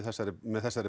með þessum